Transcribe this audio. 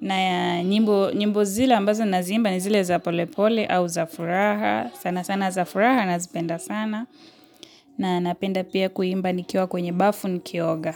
na nyimbo zile ambazo nazi imba ni zile za polepole au za furaha, sana sana za furaha nazipenda sana, na napenda pia kuimba nikiwa kwenye bafu nikioga.